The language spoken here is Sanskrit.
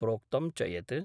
प्रोक्तं च यत्